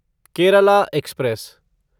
Kerala express